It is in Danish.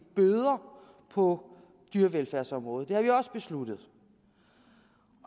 bøder på dyrevelfærdsområdet det har vi også besluttet